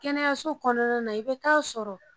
Kɛnɛyaso kɔnɔna na i bɛ t'a sɔrɔ